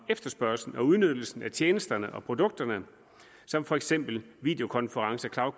efterspørgslen og udnyttelsen af tjenesterne og produkterne som for eksempel videokonferencer